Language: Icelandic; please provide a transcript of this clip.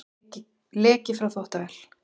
Leki frá þvottavél